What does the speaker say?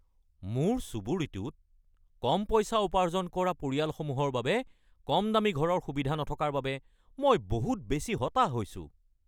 মোৰ চুবুৰীটোত কম পইচা উপাৰ্জন কৰা পৰিয়ালসমূহৰ বাবে কমদামী ঘৰৰ সুবিধা নথকাৰ বাবে মই বহুত বেছি হতাশ হৈছোঁ।